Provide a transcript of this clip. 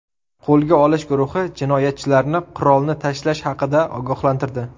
Qo‘lga olish guruhi jinoyatchilarni qurolni tashlash haqida ogohlantirdi.